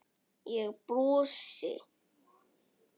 Ég brosi.